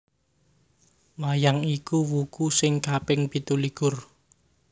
Wayang iku wuku sing kaping pitulikur